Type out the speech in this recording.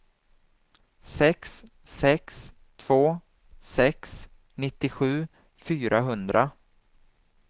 sex sex två sex nittiosju fyrahundra